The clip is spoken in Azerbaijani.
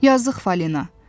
Yazıq Fəlina.